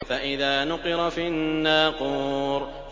فَإِذَا نُقِرَ فِي النَّاقُورِ